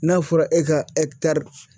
N'a fɔra e ka